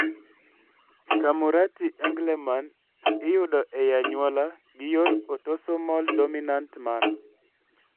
Camurati Engelmann iyudo ei anyuola ei yor autosomal dominant manner